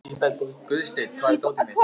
Guðstein, hvar er dótið mitt?